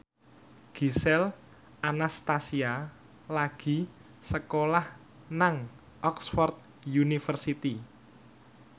Gisel Anastasia lagi sekolah nang Oxford university